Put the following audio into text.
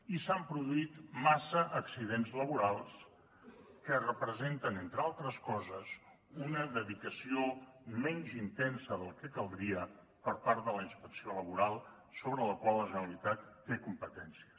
i s’han produït massa accidents laborals que representen entre altres coses una dedicació menys intensa del que caldria per part de la inspecció laboral sobre la qual la generalitat té competències